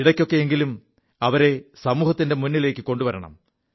ഇടയ്ക്കൊക്കെയെങ്കിലും അവരെ സമൂഹത്തിന്റെ മുിലേക്കു കൊണ്ടുവരണം